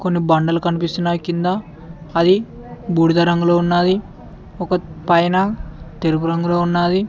కొన్ని బండలు కనిపిస్తున్నాయి కింద అది బూడిద రంగులో ఉన్నది ఒక పైన తెలుపు రంగులో ఉన్నది.